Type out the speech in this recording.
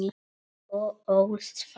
Þú ólst þá.